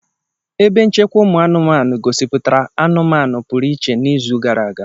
Ebe nchekwa ụmụanụmanụ gosipụtara anụmanụ pụrụ iche n'izu gara aga.